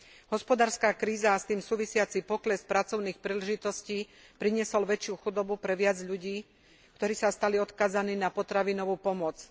Hospodárska kríza a s tým súvisiaci pokles pracovných príležitostí priniesol väčšiu chudobu pre viac ľudí, ktorí sa stali odkázaní na potravinovú pomoc.